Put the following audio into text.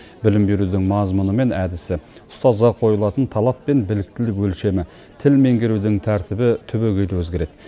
білім берудің мазмұны мен әдісі ұстазға қойылатын талап пен біліктілік өлшемі тіл меңгерудің тәртібі түбегейлі өзгереді